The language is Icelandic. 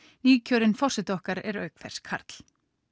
nýkjörinn forseti okkar er auk þess karl